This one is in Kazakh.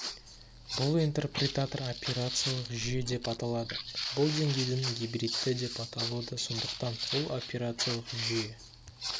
бұл интерпретатор операциялық жүйе деп аталады бұл деңгейдің гибридті деп аталуы да сондықтан ол операциялық жүйе